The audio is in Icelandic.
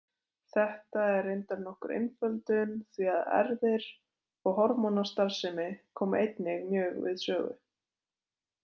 Þetta er reyndar nokkur einföldun því að erfðir og hormónastarfsemi koma einnig mjög við sögu.